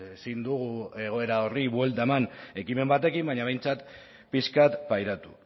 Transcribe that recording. ezin dugu egoera horri buelta eman ekimen batekin baina behintzat pixka bat pairatu